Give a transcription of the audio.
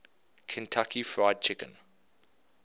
kentucky fried chicken